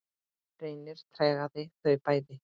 Reynir tregaði þau bæði.